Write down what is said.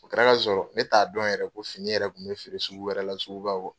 O kɛra ka sɔrɔ ne t'a dɔn yɛrɛ ko fini yɛrɛ kun bɛ feere sugu wɛrɛ la sugu ba kɔnɔ.